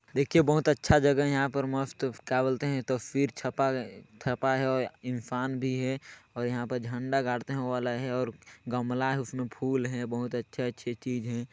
देखिये बहुत अच्छा जगह है यहाँ पर मस्त क्या बोलते है तस्वीर छपा हैं इंसान भी हैं यहाँ पर झंडा गाड़ते है वो वाला भी हैं और गमला हैं उसमे फुल हैं बहुत अच्छे अच्छे चीज हैं।